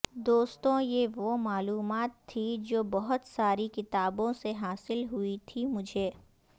دوستوں یہ وہ معلومات تھی جو بہت ساری کتابوں سے حاصل ہوئی تھی مجھے